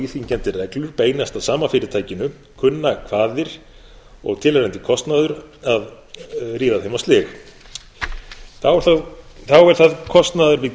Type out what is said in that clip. íþyngjandi reglur beinast að sama fyrirtækinu kunna kvaðir og tilheyrandi kostnaður að ríða þeim á slig þá er það kostur við